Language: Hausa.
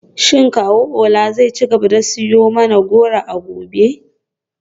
Shin kawu Ola zai ci gaba da siyo mana goro a gobe?